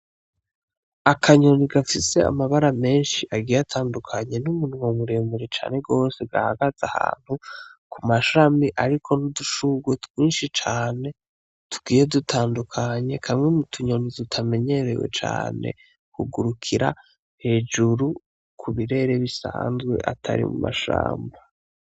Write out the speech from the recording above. Akanyoni gafise amabara meshi agiye atandukanye n'umunwa muremure cane gose gahagaze ahantu ku mashami ariko n'udushurwe twishi cane tugiye dutandukanye kamwe mu tunyoni tutamenyerewe cane kugurukira hejuru ku birere bisanzwe atari mu mashamba.